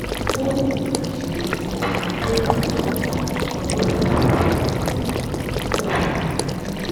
ó lè máa ṣe bí pé kó o máa bójú tó ọ̀pọ̀ nǹkan lóṣooṣù èyí sì lè mú kó o ṣàníyàn